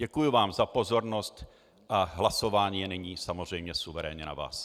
Děkuji vám za pozornost a hlasování je nyní samozřejmě suverénně na vás.